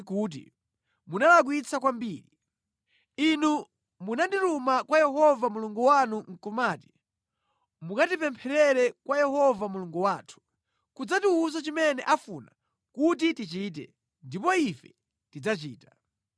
kuti munalakwitsa kwambiri. Inu munandituma kwa Yehova Mulungu wanu nʼkumati ‘Mukatipempherere kwa Yehova Mulungu wathu, nʼkudzatiwuza chimene afuna kuti tichite, ndipo ife tidzachita.’